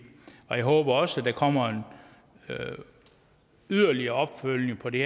jeg håber også der kommer en yderligere opfølgning på det